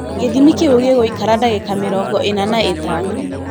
Gĩthimi kĩu gĩgũikara dagĩka mĩrongo ina na itano.